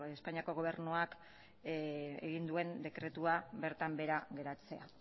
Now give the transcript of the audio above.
espainiako gobernuak egin duen dekretua bertan bera geratzea